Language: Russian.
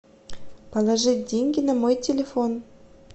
положить деньги на мой телефон